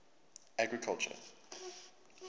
agriculture